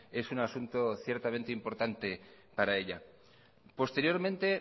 es un asunto ciertamente importante para ella posteriormente